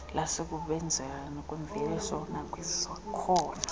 lusekusebenzeni kwemveliso nakwizakhono